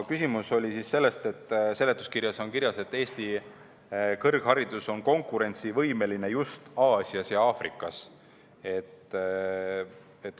Küsimus oli selles, et seletuskirjas on kirjas, et Eesti kõrgharidus on konkurentsivõimeline just Aasias ja Aafrikas.